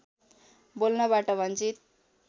बोल्नबाट वञ्चित